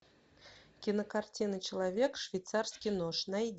кинокартина человек швейцарский нож найди